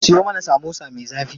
Siyo mana samosa me zafi.